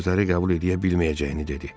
Bu sözləri qəbul eləyə bilməyəcəyini dedi.